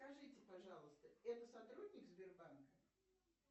скажите пожалуйста это сотрудник сбербанка